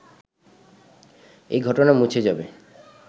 এই ঘটনা মুছে যাবে